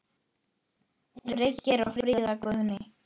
Birgir og Fríða Guðný.